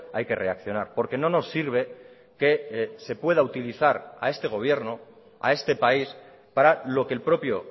hay que reaccionar porque no nos sirve que se pueda utilizar a este gobierno a este país para lo que el propio